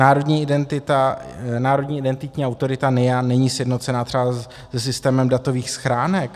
Národní identitní autorita - NIA - není sjednocena třeba se systémem datových schránek.